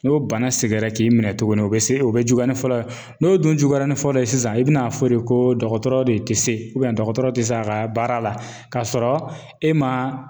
N'o bana seginna k'i minɛ tuguni, o be se o be juguya ni fɔlɔ ye. N'o dun juguyara ni fɔlɔ ye sisan i bi n'a fɔ de ko dɔgɔtɔrɔ de te se dɔgɔtɔrɔ te se a ka baara la, ka sɔrɔ e ma